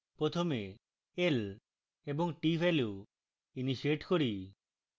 প্রথমে l এবং t value initiate করি